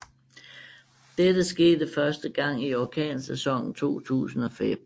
Dette skete første gang i orkansæsonen 2005